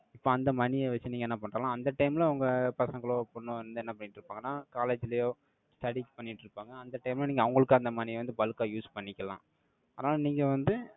இப்ப, அந்த money ய வச்சு, நீங்க என்ன பண்டலாம், அந்த time ல, உங்க பசங்கலோ, ஒரு பொண்ணோ வந்து, என்ன பண்ணிட்டு இருப்பாங்கன்னா, college லயோ, studies பண்ணிட்டு இருப்பாங்க. அந்த time ல, நீங்க அவங்களுக்கு, அந்த money ய வந்து, bulk ஆ use பண்ணிக்கலாம். ஆனா நீங்க வந்து,